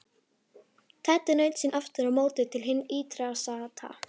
Teddi naut sín aftur á móti til hins ýtrasta.